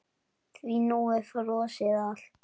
Því nú er frosið allt?